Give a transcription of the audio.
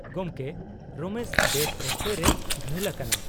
-ᱜᱚᱢᱠᱮ, ᱨᱚᱢᱮᱥ ᱵᱮᱴ ᱚᱠᱛᱮ ᱨᱮ ᱜᱷᱟᱹᱞ ᱟᱠᱟᱱᱟᱭ ᱾